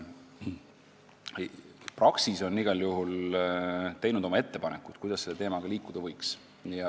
Praxis on igal juhul teinud oma ettepanekud, kuidas selle teemaga edasi liikuda võiks.